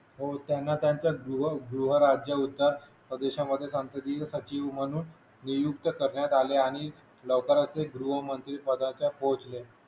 हो त्यांना त्याचा जीवा जीवा राजा होता प्रदेशांमध्ये संसदीय सचिव म्हणून नियुक्त करण्यात आले आणि लवकरच ते गृहमंत्री पदाच्यात पोचले.